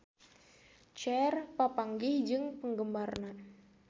Cher papanggih jeung penggemarna